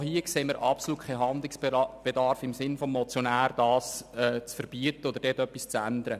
Auch hier sehen wir absolut keinen Handlungsbedarf im Sinn des Motionärs, um das zu verbieten oder um dort etwas zu ändern.